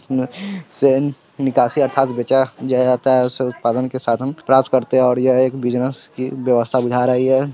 बिकासियत अथार्त बचा जो किया जाता है जिस उत्पादन के साथ हम राज करते हैं और ये एक बुसिनेस की व्यवस्था बुझा रही है।